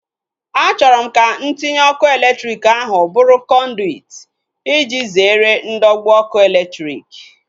Achọrọ m ka ntinye ọkụ elektriki ahu bụrụ kọnduit iji zere ndọgbu ọkụ elektriki